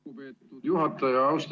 Lugupeetud juhataja!